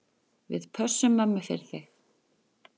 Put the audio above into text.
Við pössum mömmu fyrir þig.